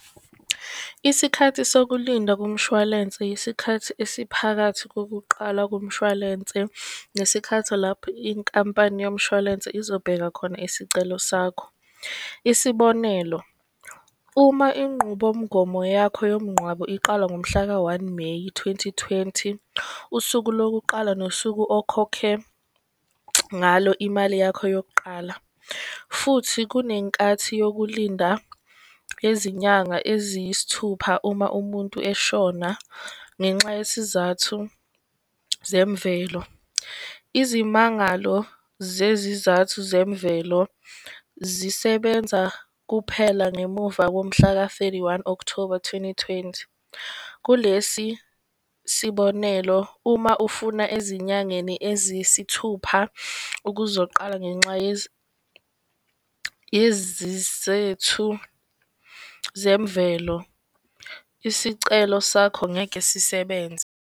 Isikhathi sokulinda komshwalense isikhathi esiphakathi kokuqala kumshwalense nesikhathi lapho inkampani yomshwalense izobheka khona isicelo sakho. Isibonelo, uma inqubomgomo yakho yomnqwabo iqala ngomhlaka one Meyi twenty twenty, usuku lokuqala nosuku okhokhe ngalo imali yakho yokuqala. Futhi kunenkathi yokulinda izinyanga eziyisithupha uma umuntu eshona ngenxa yesizathu zemvelo. Izimangalo zezizathu zemvelo zisebenza kuphela ngemuva ngomhlaka thirty-one Okthoba twenty twenty, kulesi sibonelo, uma ufuna ezinyangeni eziyisithupha ukuzoqala ngenxa zemvelo, isicelo sakho ngeke sisebenza